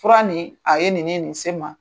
Fura nin, a ye nin ni nin se n ma.